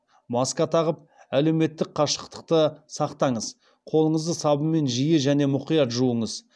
маска тағып әлеуметтік қашықтықты сақтаңыз қолыңызды сабынмен жиі және мұқият жуыңыз